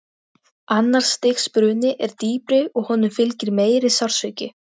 Annars stigs bruni er dýpri og honum fylgir meiri sársauki.